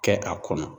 Kɛ a kɔnɔ